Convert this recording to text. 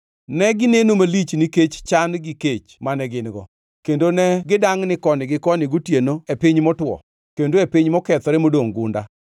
Negineno malich nikech chan gi kech mane gin-go kendo ne gidangʼni koni gi koni gotieno e piny motwo, kendo e piny mokethore modongʼ gunda.